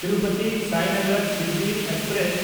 ᱛᱤᱨᱩᱯᱚᱛᱤ–ᱥᱟᱭᱱᱟᱜᱟᱨ Shirdi express